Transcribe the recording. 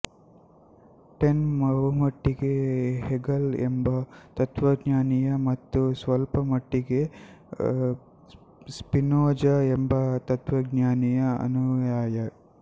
ten ಬಹುಮಟ್ಟಿಗೆ Hegel ಎಂಬ ತತ್ತ್ವಜ್ಞಾನಿಯ ಮತ್ತು ಸ್ವಲ್ಪ ಮಟ್ಟಿಗೆ ಸ್ಪಿನೋಜ ಎಂಬ ತತ್ತ್ವಜ್ಞಾನಿಯ ಅನುಯಾಯಿ